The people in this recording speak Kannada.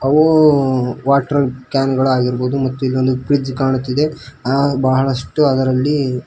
ಹೂ ವಾಟರ್ ಕ್ಯಾನ್ ಗಳು ಆಗಿರಬಹುದು ಮತ್ತು ಇಲ್ಲೊಂದು ಫ್ರಿಡ್ಜ್ ಕಾಣುತ್ತಿದೆ ಬಹಳಷ್ಟು ಅದರಲ್ಲಿ.